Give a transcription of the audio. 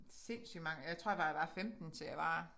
Sindssygt mange øh jeg tror jeg var fra jeg var 15 til jeg var